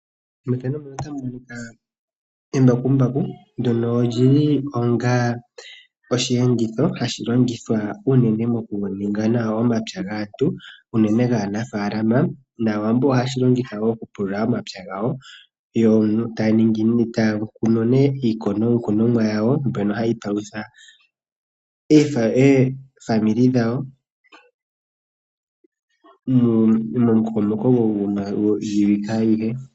Embakumbaku ndyono li li onga osheenditho hashi longithwa unene mokuninga nawa omapya gaantu unene gaanafaalama nAawambo ohaye ga longitha okupulula omapya gawo, yo taya kunu iikunomwa yawo mbyono hayi palutha aakwanezimo yawo momukokomoko gwiiwike ayihe.